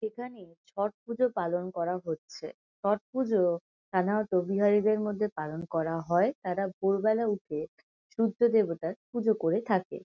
এখানে ছট পুজো পালন করা হচ্ছে। ছট পুজো সাধারণত বিহারীদের মধ্যে পালন করা হয়। তারা ভোরবেলা উঠে সূর্যদেবতার পুজো করে থাকে।